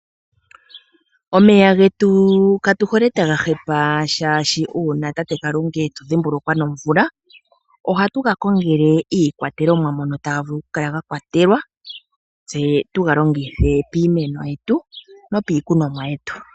Omeya getu katuhole taga hepa oshoka uuna tate Kalunga etudhimbulukwa nomvula ohatu ga kongele iikwatelwa mono taga vulu okukala ga kwatelwa tse tuga longithe piimeno yetu nopiikunomwa yetu.